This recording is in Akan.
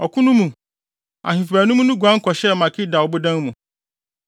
Ɔko no mu, ahemfo baanum no guan kɔhyɛɛ Makeda ɔbodan mu.